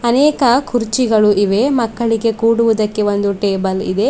ಅನೇಕ ಕುರ್ಚಿಗಳು ಇವೆ ಮಕ್ಕಳಿಗೆ ಕುಡುವುದಕ್ಕೆ ಒಂದು ಟೇಬಲ್ ಇದೆ.